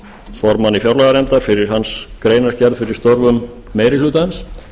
formanni fjárlaganefndar fyrir hans greinargerð fyrir störfum meiri hlutans